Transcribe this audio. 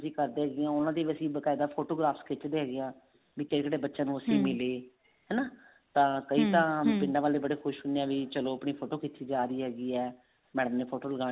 ਕਰਦੇ ਹੈਗੇ ਹਾਂ ਉਹਨਾ ਦੀ ਵੀ ਅਸੀਂ ਬਕਾਇਦਾ photographs ਖਿਚਦੇ ਹੈਗੇ ਹਾਂ ਵੀ ਕਿਹੜੇ ਕਿਹੜੇ ਬੱਚਿਆਂ ਨੂੰ ਮਿਲੇ ਹਨਾ ਤਾਂ ਕਈ ਤਾਂ ਪਿੰਡਾਂ ਵਾਲੇ ਬੜੇ ਖੁਸ਼ ਹੁੰਦੇ ਆ ਵੀ ਵੀ ਚਲੋ ਆਪਣੀ ਫੋਟੋ ਖਿਚੀ ਜਾ ਰਹੀ ਹੈਗੀ ਹੈ madam ਨੇ ਫੋਟੋ ਲਗਾਣੀ